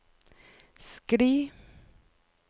skli